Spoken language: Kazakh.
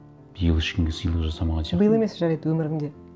биыл ешкімге сыйлық жасамаған сияқтымын биыл емес жарайды өміріңде